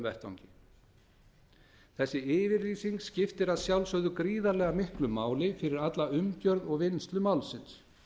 vettvangi þessi yfirlýsing skiptir að sjálfsögðu gríðarlega miklu máli fyrir alla umgjörð og vinnslu málsins